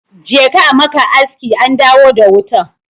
Je ka a maka aski an dawo da wutan.